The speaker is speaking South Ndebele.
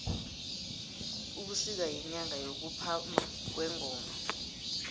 ubusika yinyanga yokuphama kwengoma